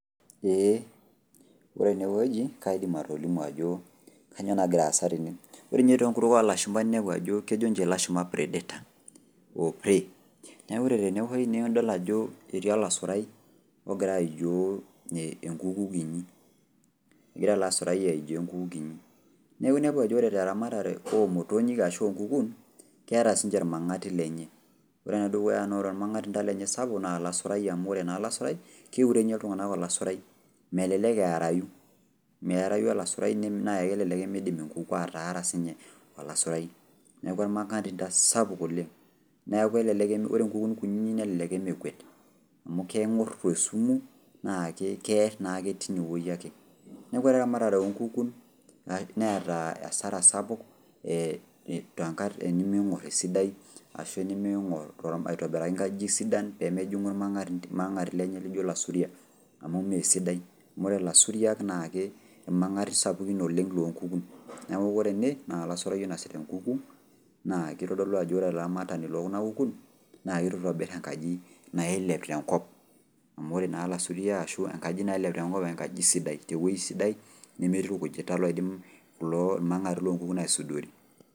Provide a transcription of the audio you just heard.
Ee. Ore enewueji, kaidim atolimu ajo kanyioo nagira aasa tene. Ore nye tenkutuk olashumpa ninepu ajo kejo nche lashumpa predator ,o pray. Neeku ore tene na idol ajo etii olasurai ogira aijoo enkuku kinyi. Egira ele asurai aijoo enkuku kinyi. Neeku inepu ajo ore teramatare omotonyik ashu onkukun, keeta sinche irmang'ati lenye. Ore enedukuya na ore ormang'atinda lenye sapuk, na olasaurai amu ore naa olasurai, keure nye iltung'anak olasurai. Melelek earayu. Meerayu olasurai na kelelek imidim enkuku ataara sinye olasurai. Neeku ormang'atinda sapuk oleng. Neeku elelek ore nkukun kunyinyik nelelek emekuet. Amu keng'or tesumu, na keer naake tinewei ake. Neeku ore eramatare onkukun, neeta asara sapuk eniming'or esidai, ashu eniming'or aitobiraki nkajijik sidan pemejing'u ormang'atinda, irmang'ati lenye lijo ilasuriak, amu mesidai. Amu ore lasuria na irmang'ati sapukin oleng lonkukun. Neeku ore ene, na olasurai oinasita enkuku, na kitodolu ajo ore olaramatani lekuna kukun, na itu itobir enkaji nailep tenkop, amu ore naa lasuria ashu enkaji nailep tenkop enkaji sidai, tewoi sidai, nemetii irkujit taa loidim irmang'ati lonkukun aisudori.